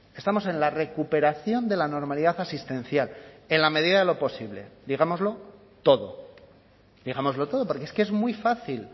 estamos en la recuperación de la normalidad asistencial en la medida de lo posible digámoslo todo digámoslo todo porque es que es muy fácil